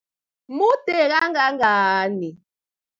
Mude kangangani?